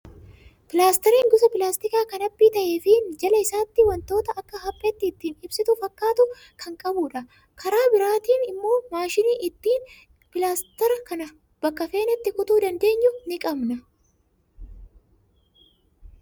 Pilaastariin gosa pilaastikaa kan haphii ta'ee fi jala isaatti waan wantoota akka hapheetti ittiin qabsiisu fakkaatu kan qabudha. Karaa biraatiin immoo maashina ittiin pilaastara kana bakka feenetti kutuu dandeenyu ni qabna.